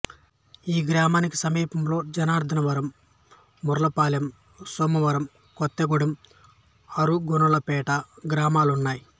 ఈ గ్రామానికి సమీపంలో జనార్ధనవరం మర్లపాలెం సోమవరం కొత్తగూడెం ఆరుగొలనుపేట గ్రామాలు ఉన్నాయి